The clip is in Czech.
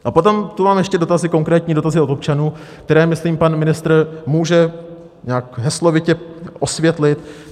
A potom tu mám ještě dotazy, konkrétní dotazy od občanů, které, myslím, pan ministr může nějak heslovitě osvětlit.